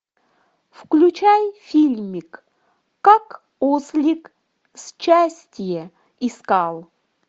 включай фильмик как ослик счастье искал